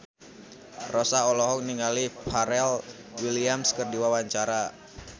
Rossa olohok ningali Pharrell Williams keur diwawancara